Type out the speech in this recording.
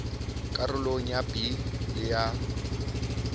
karolong ya b le ya